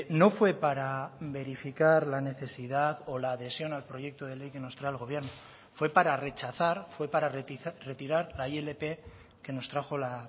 no fue para verificar la necesidad o la adhesión al proyecto de ley que nos trae el gobierno fue para rechazar fue para retirar la ilp que nos trajo la